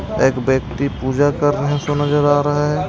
एक व्यक्ति पूजा करने से नजर आ रहा है।